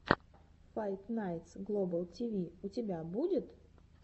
файт найтс глобал тиви у тебя будет